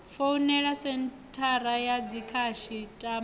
founele senthara ya dzikhasi ṱama